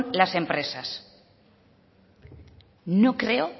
las empresas no creo